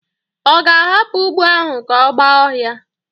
Ọ ga-ahapụ ugbo ahụ ka ọ gba ọhia?